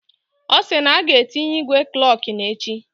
Osi na aga etinye igwe klokin echi